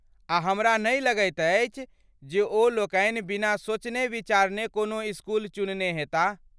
आ हमरा नहि लगैत अछि जे ओ लोकनि बिना सोचने विचारने कोनो इसकुल चुनने हेताह।